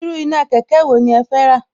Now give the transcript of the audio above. Irú iná kẹ̀kẹ́ wo ni ẹ fẹ́ rà